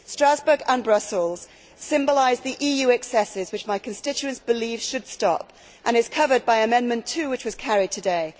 Strasbourg and Brussels symbolise the EU excesses which my constituents believe should stop and this question is covered by Amendment 2, which was carried today.